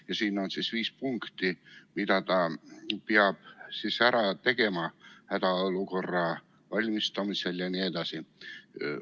" Ja siis on esitatud viis punkti, mida Terviseamet peab ära tegema hädaolukorraks valmistumisel jne.